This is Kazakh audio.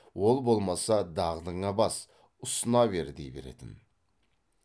ол болмаса дағдыңа бас ұсына бер дей беретін